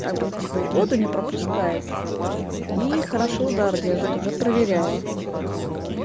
как бы типа и воду не пропускает и хорошо удар держит уже проверяла